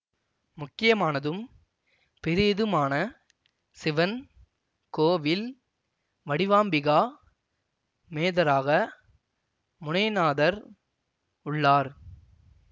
முக்கியமானதும் பெரியதுமான சிவன் கோவில் வடிவாம்பிகா மேதராக முனைநாதர் உள்ளார்